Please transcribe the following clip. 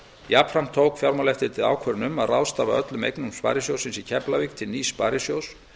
jafnframt tók fjármálaeftirlitið ákvörðun um að ráðstafa öllum eignum sparisjóðs keflavíkur til nýs sparisjóðs